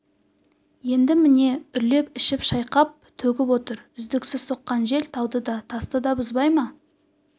енді міне үрлеп ішіп шайқап төгіп отыр үздіксіз соққан жел тауды да тасты да бұзбай ма